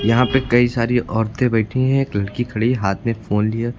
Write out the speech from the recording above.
यहाँ पे कई सारी औरतें बैठी हैं एक लड़की ख़डी है हाथ में फोन लिए।